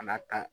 A n'a kan